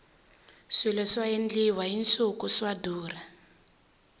swilo swa endliwa hi nsuku swa durha